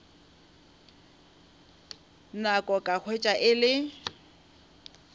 nako ka hwetša e le